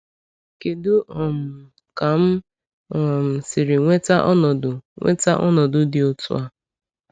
Kedụ um ka m um siri nweta ọnọdụ nweta ọnọdụ dị otú a?